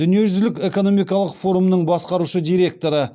дүниежүзілік экономикалық форумының басқарушы директоры